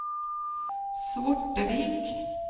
Svortevik